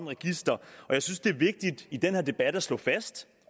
register og jeg synes det er vigtigt i den her debat at slå fast